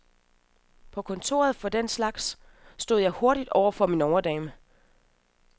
På kontoret for den slags stod jeg hurtigt over for min overdame.